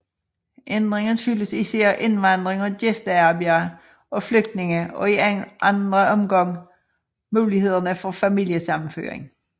Ændringen skyldes især indvandring af gæstearbejdere og flygtninge og i anden omgang mulighederne for familiesammenføring